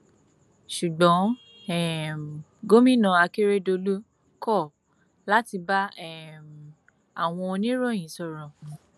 ṣùgbọn um gòmìnà akérèdọlù kọ láti bá um àwọn oníròyìn sọrọ